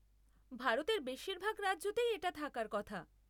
ভারতের বেশিরভাগ রাজ্যতেই এটা থাকার কথা।